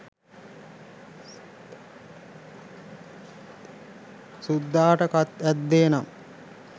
සුද්දාට කත් ඇද්දේ නම්